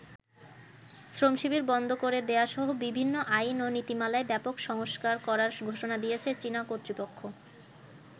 শ্রমশিবির বন্ধ করে দেয়াসহ বিভিন্ন আইন ও নীতিমালায় ব্যাপক সংস্কার করার ঘোষণা দিয়েছে চীনা কর্তৃপক্ষ।